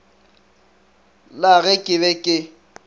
la ge ke be ke